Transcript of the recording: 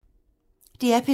DR P3